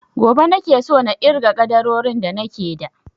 Gobe nake so na irga ƙaddarorin da nake da